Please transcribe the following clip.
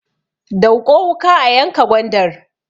Dauƙo wuka a yanka gwandar!